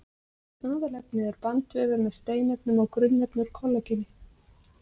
Aðalefnið er bandvefur með steinefnum og grunnefni úr kollageni.